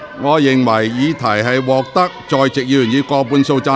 我認為議題獲得在席議員以過半數贊成。